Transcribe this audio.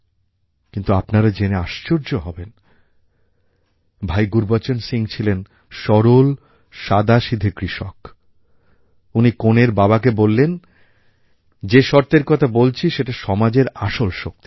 কিন্তু আপনারা জেনে আশ্চর্য হবেন ভাই গুরুবচন সিং ছিলেন সরল সাদাসিধা কৃষক উনি কনের বাবাকে বললেন যে শর্তের কথা বলছি সেটা সমাজের আসল শক্তি